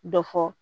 Dɔ fɔ